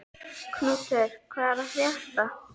Knútur, hvað er að frétta?